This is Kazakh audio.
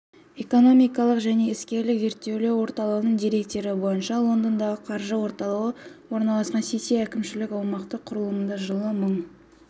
экономикалық және іскерлік зерттеулер орталығының деректері бойынша лондондағы қаржы орталығы орналасқан сити әкімшілік-аумақтық құрылымында жылы мың